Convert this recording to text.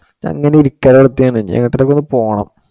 അങ്ങിനെ ഇരിക്ക ഒറ്റയാണ്‌. എങ്ങോട്ടേക്ക് ഒക്കെ ഒന്ന് പോണം.